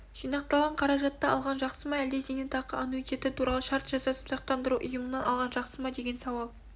жинақталған қаражатты алған жақсы ма әлде зейнетақы аннуитеті туралы шарт жасасып сақтандыру ұйымынан алған жақсы ма деген сауал